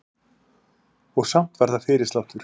Og samt var það fyrirsláttur.